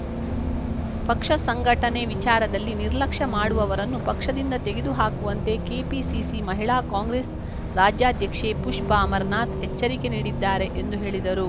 ಪಕ್ಷ ಸಂಘಟನೆ ವಿಚಾರದಲ್ಲಿ ನಿರ್ಲಕ್ಷ್ಯ ಮಾಡುವವರನ್ನು ಪಕ್ಷದಿಂದ ತೆಗೆದು ಹಾಕುವಂತೆ ಕೆಪಿಸಿಸಿ ಮಹಿಳಾ ಕಾಂಗ್ರೆಸ್‌ ರಾಜ್ಯಾಧ್ಯಕ್ಷೆ ಪುಷ್ಪಾ ಅಮರನಾಥ್‌ ಎಚ್ಚರಿಕೆ ನೀಡಿದ್ದಾರೆ ಎಂದು ಹೇಳಿದರು